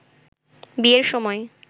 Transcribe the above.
বিয়ের সময়